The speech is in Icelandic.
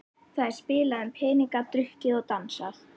Það er spilað um peninga, drukkið og dansað.